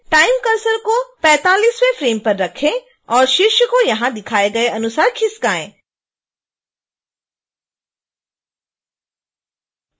time cursor को 45वें frame पर रखें और शीर्ष को यहां दिखाए गए अनुसार खिसकाएँ